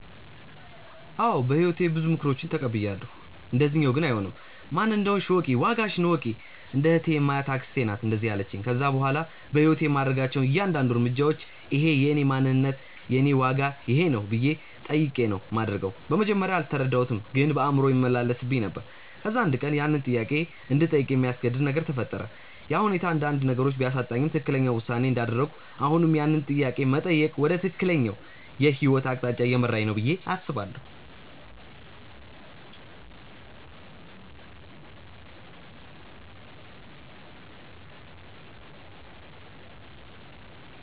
አዎ በህይወቴ ብዙ ምክሮችን ተቀብያለው፣ እንደዚኛው ግን አይሆንም። "ማን እንደሆንሽ እወቂ፣ ዋጋሽን እወቂ"። እንደ እህቴ የማያት አክስቴ ናት እንደዛ ያለቺኝ። ከዛ በኋላ በህይወቴ የማደርጋቸው እያንዳድንዱ እርምጃዎች" እኼ የእኔ ማንነት ነው? የኔ ዋጋ ይኼ ነው?" ብዬ ጠይቄ ነው ማደርገው። በመጀመርያ አልተረዳሁትም ግን በአእምሮዬ ይመላለስብኝ ነበር። ከዛ አንድ ቀን ያንን ጥያቄ እንድጠይቅ የሚያስገድድ ነገር ተፈጠረ፤ ያ ሁኔታ አንዳንድ ነገሮችን ቢያሳጣኝም ትክክለኛው ውሳኔ እንዳደረኩና አሁንም ያንን ጥያቄ መጠየቅ ወደ ትክክለኛው የህይወት አቅጣጫ እየመራኝ ነው ብዬ አስባለው።